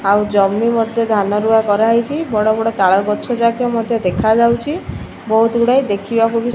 ଆଉ ଜମି ମଧ୍ୟ ଧାନ ରୁଆଁ କରାହେଇଚି। ବଡ ବଡ ତାଳ ଗଛ ଯାକ ମଧ୍ୟ ଦେଖାଯାଉଚି। ବହୁତ ଗୁଡାଏ ଦେଖିବାକୁ ବି --